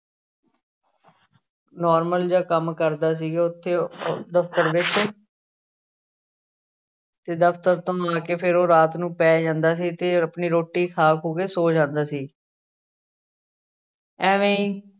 Normal ਜਿਹਾ ਕੰਮ ਕਰਦਾ ਸੀਗਾ ਉੱਥੇ ਉਹ ਦਫ਼ਤਰ ਵਿੱਚ ਤੇ ਦਫ਼ਤਰ ਤੋਂ ਆ ਕੇ ਫਿਰ ਉਹ ਰਾਤ ਨੂੰ ਪੈ ਜਾਂਦਾ ਸੀ ਤੇ ਆਪਣੀ ਰੋਟੀ ਖਾ ਖੂ ਕੇ ਸੌਂ ਜਾਂਦਾ ਸੀ ਐਵੇਂ ਹੀ